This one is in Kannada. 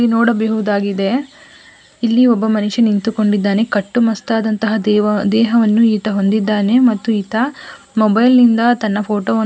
ಇಲ್ಲಿ ನೋಡಬಹುದಾಗಿದೆ ಇಲ್ಲಿ ಒಬ್ಬ ಮನುಷ್ಯ ನಿಂತುಕೊಂಡು ಇದ್ದಾನೆ ಕಟ್ಟು ಮಸ್ತ್ ಆದಂತಹ ದೇವ ದೇಹವನ್ನು ಈತ ಹೊಂದಿದ್ದಾನೆ ಮತ್ತು ಈತ ಮೊಬೈಲ್ ನಿಂದ ತನ್ನ ಫೋಟೋ ಅನ್ನು--